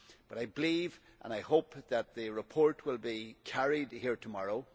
But I believe and I hope that the report will be carried here tomorrow.